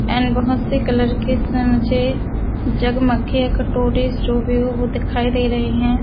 And बहुत सी colour की इसमे मुझे जग मग या कटोरी जो भी हो वो दिखाई दे रही हैं ।